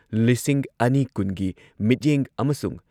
ꯂꯤꯁꯤꯡ ꯑꯅꯤ ꯀꯨꯟꯒꯤ ꯃꯤꯠꯌꯦꯡ ꯑꯃꯁꯨꯡ